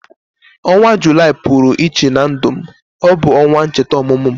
Ọnwa Julaị pụrụ iche na ndu me. Ọ bu onwa ncheta ọmụmụ m